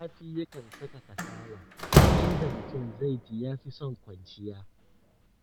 Zafi yakan saka kasala, inda mutum zai ji ya fi son kwanciya.